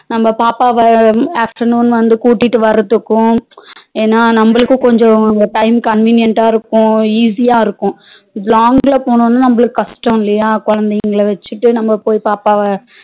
நம்ம பாப்பாவா afternoon வந்து கூட்டிட்டு வர்றதுக்கும் ஏனா நம்மளுக்கு கொஞ்சம் time convenient டா இருக்கும் easy யா இருக்கும் long லா போனா நமக்கு கஷ்டம் இல்லையா குழந்தைகளை வச்சுக்கிட்டு நாம போய் பாப்பாவா